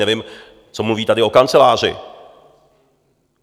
Nevím, co mluví tady o kanceláři.